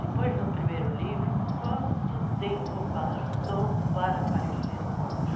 Depois do primeiro livro, quanto tempo passou para aparecer um outro?